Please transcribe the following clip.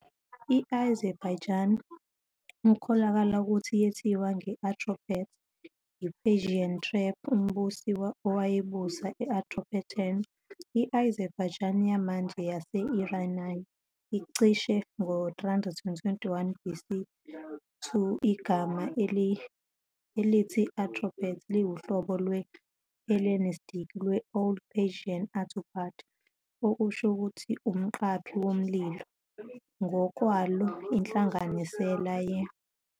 Yiso futhi isakhiwo esiveza ukucikoza kwembongi, sicacise ikhono layo lokukhetha amagama, lokuhlela imigqa nokubumba amabinza enkondlo. Isakhiwo siveza izithako ezisetshenziswe yimbongi ezinjengemvumelwano, ukuxhumana, nokunye, ngokunjalo nezinongo ezinjengezithombemagama okuyizona ezigqamisa umoya othile oqukethwe yinkondlo.